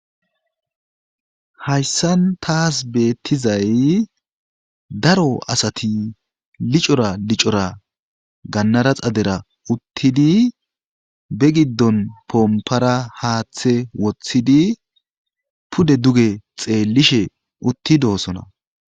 Hayssan taas beettizay daro asati licora licora gannara xadera uttidi be giddon poompara haaththe woththidi pude duge xeellishe uttidoosona